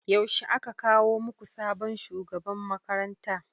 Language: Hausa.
Yaushe aka kawo muku sabon shugaban makaranta?